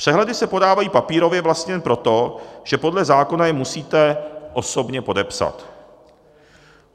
Přehledy se podávají papírově vlastně jen proto, že podle zákona je musíte osobně podepsat.